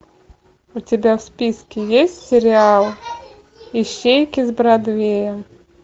у тебя в списке есть сериал ищейки с бродвея